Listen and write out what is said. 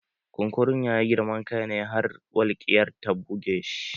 Kunkurun ya yi girman kai ne har walƙiya ta buge shi